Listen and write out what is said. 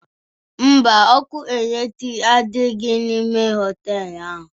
Mba, ọkụ eletrik adighọ n'ime họtelu ahụ